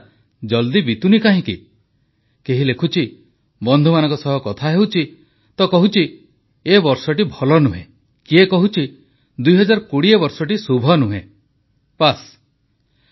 କିନ୍ତୁ ଆଜିକାଲି ମୁଁ ଦେଖୁଛି ଗୋଟିଏ କଥାକୁ ନେଇ ଲୋକଙ୍କ ମଧ୍ୟରେ ନିରନ୍ତର ଚର୍ଚ୍ଚା ହେଉଛି ଯେ ଏ ବର୍ଷଟି କେବେ ସରିବ କେହି କାହାକୁ ଫୋନ କଲେ ମଧ୍ୟ କଥାବାର୍ତ୍ତା ଏଇଥିରୁ ହିଁ ଆରମ୍ଭ ହେଉଛି ଯେ ଏ ବର୍ଷଟା ଜଲଦି ବିତୁନି କାହିଁକି କେହି ଲେଖୁଛି ବନ୍ଧୁମାନଙ୍କ ସହ କଥା ହେଉଛି ତ କହୁଛି ଏ ବର୍ଷଟି ଭଲ ନୁହେଁ କିଏ କହୁଛି 2020 ବର୍ଷଟି ଶୁଭ ନୁହେଁ